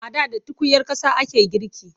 A da da tukunyar ƙasa ake girki.